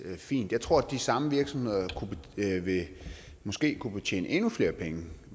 fint jeg tror at de samme virksomheder måske kunne tjene endnu flere penge